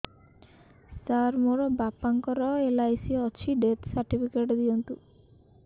ସାର ମୋର ବାପା ଙ୍କର ଏଲ.ଆଇ.ସି ଅଛି ଡେଥ ସର୍ଟିଫିକେଟ ଦିଅନ୍ତୁ